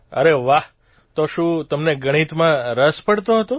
અરે વાહ તો શું તમને ગણિતમાં રસ પડતો હતો